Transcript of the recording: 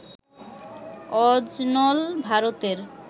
অজনল, ভারতের